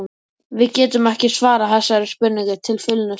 Við getum ekki svarað þessari spurningu til fullnustu.